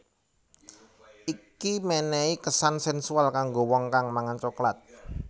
Iki menehi kesan sensual kanggo wong kang mangan coklat